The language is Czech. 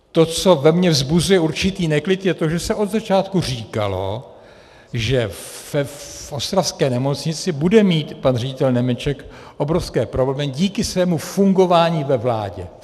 To, co ve mně vzbuzuje určitý neklid, je to, že se od začátku říkalo, že v ostravské nemocnici bude mít pan ředitel Němeček obrovské problémy díky svému fungování ve vládě.